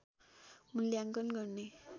मूल्याङ्कन गर्ने